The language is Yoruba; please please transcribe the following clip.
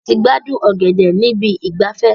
A ti gbádùn ọ̀gẹ̀dẹ̀ níbi ìgbafẹ́.